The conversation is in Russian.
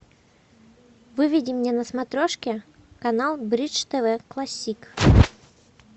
выведи мне на смотрешке канал бридж тв классик